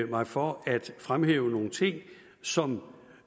mig for at fremhæve nogle ting som